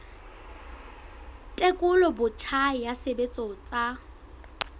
tekolo botjha ya tshebetso tsa